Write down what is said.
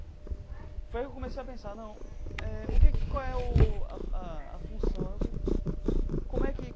Foi aí que eu comecei a pensar não, eh o que qual é o a a a função o que como é que.